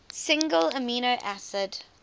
single amino acid